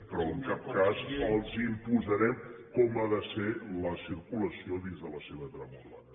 però en cap cas els imposarem com ha de ser la circulació dins de la seva trama urbana